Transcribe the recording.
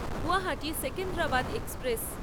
Guwahati Secunderabad express